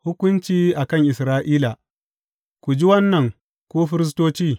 Hukunci a kan Isra’ila Ku ji wannan, ku firistoci!